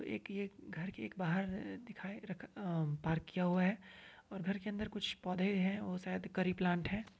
एक ये घर के एक बाहर अ दिखाई रखा अ पार्क किया हुआ है और घर के अंदर कुछ पौधे हैं और शायद करी प्लांट है।